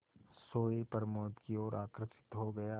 सोए प्रमोद की ओर आकर्षित हो गया